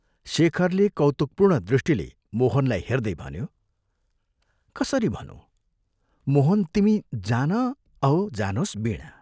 शेखरले कौतुकपूर्ण दृष्टिले मोहनलाई हेर्दै भन्यो, "कसरी भनूँ, मोहन तिमी जान औ जानोस् वीणा!